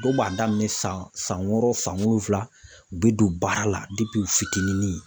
Dɔw b'a daminɛ san san wɔɔrɔ san wolonfila u bɛ don baara la u fitinin.